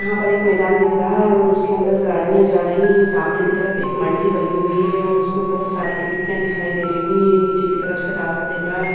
यहाँ पर एक मैदान दिख रहा है और उसके अंदर गाड़ियाँ जा रही हैं। सामने की तरफ एक मल्टी बनी हुई है और उसमें बहुत सारी खिड़कियाँ दिखाई दे रही है। नीचे की तरफ से रास्ता दिख रहा है।